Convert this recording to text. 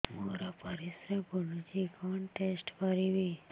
ମୋର ପରିସ୍ରା ପୋଡୁଛି କଣ ଟେଷ୍ଟ କରିବି